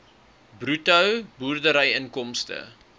bruto boerderyinkomste